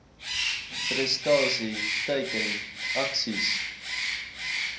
prestasie teiken aksies